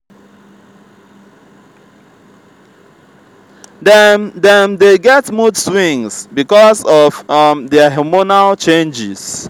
dem dem dey get mood swings because of um their hormonal changes